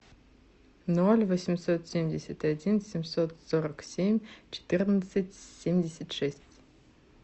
ноль восемьсот семьдесят один семьсот сорок семь четырнадцать семьдесят шесть